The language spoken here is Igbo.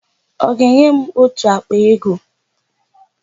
Ọ ga-enye m ótù àkpà ego.